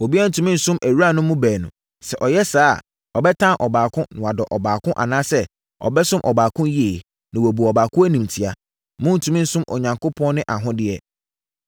“Obiara ntumi nsom awuranom baanu; sɛ ɔyɛ saa a, ɔbɛtan ɔbaako, na wadɔ ɔbaako anaasɛ ɔbɛsom ɔbaako yie, na wabu ɔbaako animtia. Morentumi nsom Onyankopɔn ne ahodeɛ.